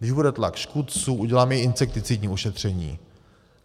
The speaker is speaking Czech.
Když bude tlak škůdců, udělám i insekticidní ošetření.